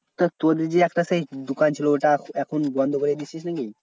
তা তোদের যে একটা সেই দোকান ছিল ওটা এখন বন্ধ করে